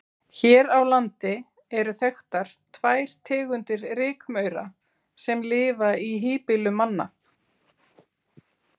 Hér á landi eru þekktar tvær tegundir rykmaura sem lifa í híbýlum manna.